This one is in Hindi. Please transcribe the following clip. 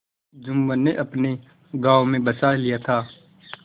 जुम्मन ने अपने गाँव में बसा लिया था